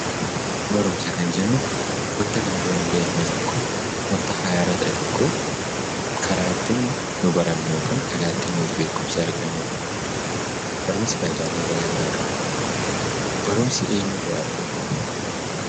Barumsa kan jennu wanta kana dura hin beekne tokko wanta haaraa tokko karaa ittiin nuti barannu yookiin karaa ittiin beekumsa argannudha. Barumsi faayidaalee garaa garaa qaba. Barumsi eenyuu irraa argama?